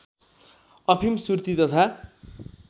अफिम सुर्ती तथा